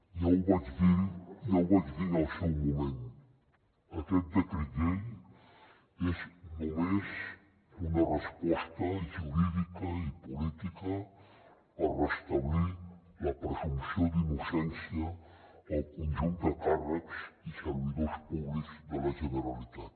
ja ho vaig dir en el seu moment aquest decret llei és només una resposta jurídica i política per restablir la presumpció d’innocència al conjunt de càrrecs i servidors públics de la generalitat